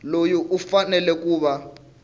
loyi u fanele ku va